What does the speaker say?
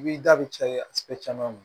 I b'i da bɛ caya caman na